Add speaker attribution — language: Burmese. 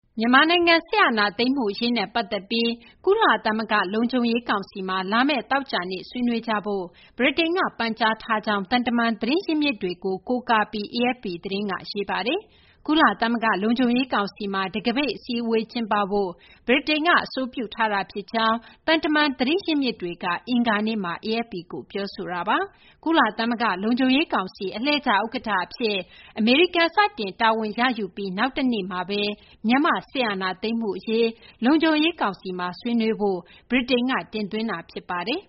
Speaker 1: မြန်မာနိုင်ငံ စစ်အာဏာသိမ်းမှု အရေးနဲ့ ပတ်သက်ပြီး ကုလသမဂ္ဂ လုံခြုံရေးကောင်စီမှာ လာမယ့် သောကြာနေ့မှာ ဆွေးနွေး ကြဖို့ ဗြိတိန်က ပန်ကြားထားကြောင်း သံတမန် သတင်းရင်းမြစ်တွေကို ကိုးကားပြီး AFP သတင်းက ရေးသားပါတယ်။ ကုလသမဂ္ဂ လုံခြုံရေး ကောင်စီမှာ တံခါးပိတ် အစည်းအဝေး ကျင်းပဖို့ ဗြိတိန်ရဲ့ အဆိုပြုထားတာ ဖြစ်ကြောင်း သံတမန် သတင်းရင်းမြစ်က အင်္ဂါနေ့မှာ AFP ကို ပြောဆိုထားတာပါ။ ကုလသမဂ္ဂ လုံခြုံရေးကောင်စီ အလှည့်ကျ ဥက္ကဌ အဖြစ် အမေရိကန် စတင် တာဝန်ရယူပြီး နောက်တရက်မှာဘဲ မြန်မာ့ စစ်အာဏာသိမ်းမှု အရေး လုံခြုံရေး ကောင်စီမှာ ဆွေးနွေးဖို့ ဗြိတိန်က တင်သွင်းတာ ဖြ
Speaker 2: စ်ပါတယ်